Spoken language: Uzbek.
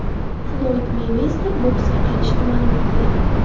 Floyd Meyvezer boksga qaytishini ma’lum qildi.